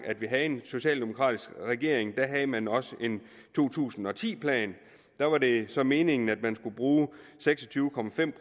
vi havde en socialdemokratisk regering da havde man også en to tusind og ti plan da var det så meningen at man skulle bruge seks og tyve